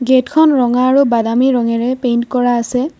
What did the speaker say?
গেটখন ৰঙা আৰু বাদামী ৰঙেৰে পইন্ট কৰা আছে।